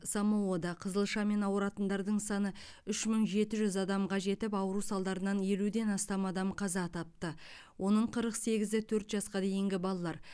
самоада қызылшамен ауыратындар саны үш мың жеті жүз адамға жетіп ауру салдарынан елуден астам адам қаза тапты оның қырық сегізі төрт жасқа дейінгі балалар